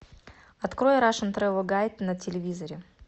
открой рашен трэвел гайд на телевизоре